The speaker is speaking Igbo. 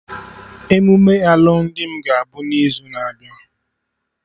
Emume alụmdi m ga abụ n'izu na-abịa